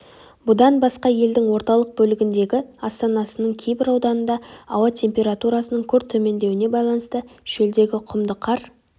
бұдан басқа елдің орталық бөлігіндегі астанасының кейбір ауданында ауа температурасының күрт төмендеуіне байланысты шөлдегі құмды қар